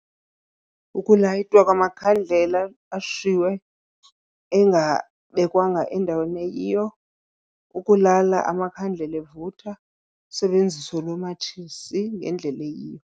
Ukulayitwa amakhandlela ashiywe engabekwanga endaweni eyiyo, ukulala amakhandlela evutha. usebenziso lomatshisi ngendlela eyiyo.